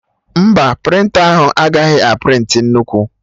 Mba, prịnta ahụ agaghị a prịntị nnukwu